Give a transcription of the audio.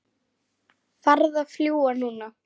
Farðu að fljúga, núna